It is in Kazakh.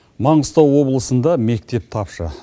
маңғыстау облысында мектеп тапшы